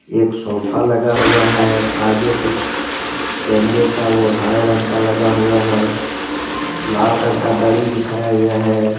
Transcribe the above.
एक सोफा लगा हुआ है आगे कुच्छ कॅमेरेका वो हरे रंग का लगा हुआ है लाल रंग का धड़ी बिच्छाया गया है।